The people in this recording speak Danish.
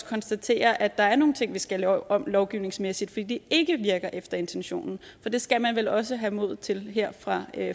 konstatere at der er nogle ting vi skal lave om lovgivningsmæssigt fordi det ikke virker efter intentionen det skal man vel også have mod til her fra